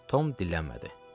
Tom dillənmədi.